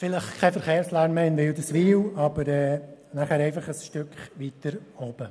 Vielleicht gibt es in Wilderswil keinen Verkehrslärm mehr, aber dafür einfach etwas weiter oben.